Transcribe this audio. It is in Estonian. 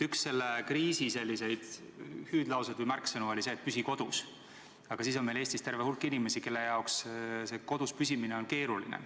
Üks selle kriisi hüüdlauseid või märksõnu oli, et "Püsi kodus!", aga meil on Eestis terve hulk inimesi, kelle jaoks kodus püsimine on keeruline.